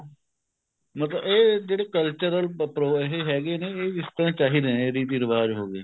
ਮਤਲਬ ਇਹ ਜਿਹੜੇ cultural ਇਹ ਹੈਗੇ ਨੇ ਇਹ ਇਸ ਤਰ੍ਹਾਂ ਚਾਹੀਦੇ ਨੇ ਰੀਤੀ ਰਿਵਾਜ ਹੋ ਗਏ